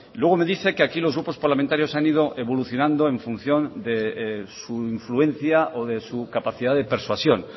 luego me dice que aquí los grupos parlamentarios han ido evolucionando en función de su influencia o de su capacidad de persuasión